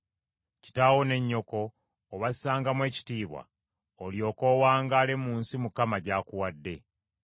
Kitaawo ne nnyoko obassangamu ekitiibwa, olyoke owangaale mu nsi Mukama Katonda wo gy’akuwa.